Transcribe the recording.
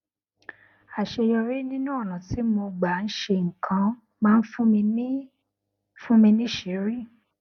àṣeyọrí nínú ònà tí mo gbà ń ṣe nǹkan máa ń fún mi fún mi níṣìírí